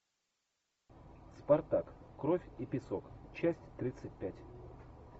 спартак кровь и песок часть тридцать пять